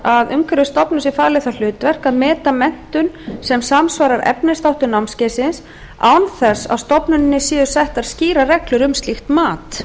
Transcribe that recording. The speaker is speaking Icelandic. að umhverfisstofnun sé falið það hlutverk að meta menntun sem samsvarar efnisþáttum námskeiðsins án þess að stofnuninni séu settar skýrar reglur um slíkt mat